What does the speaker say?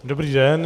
Dobrý den.